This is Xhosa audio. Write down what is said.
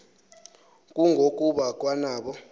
kungo kuba kwanabo